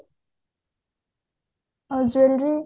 ଆଉ jewelry